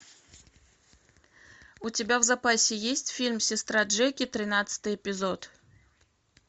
у тебя в запасе есть фильм сестра джеки тринадцатый эпизод